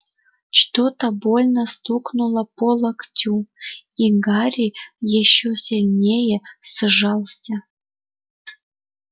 что-то больно стукнуло по локтю и гарри ещё сильнее сжался